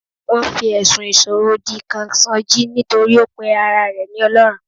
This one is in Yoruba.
Wọn fi ẹ̀sùn ìsọ̀rọ̀ òdì kan sọjí nítorí ó pe ara rẹ ní Ọlọ́run.